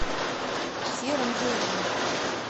сером зорине